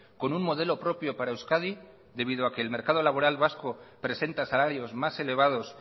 con un modelo propio para euskadi debido a que el mercado laboral vasco presenta salarios más elevados